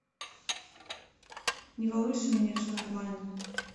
не волнуйся у меня все нормально